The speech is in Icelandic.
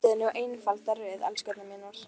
Myndið nú einfalda röð, elskurnar mínar.